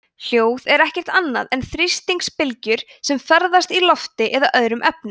hljóð er ekkert annað en þrýstingsbylgjur sem ferðast í lofti eða öðrum efnum